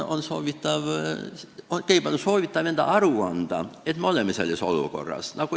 On soovitatav endale aru anda, et me oleme selles olukorras.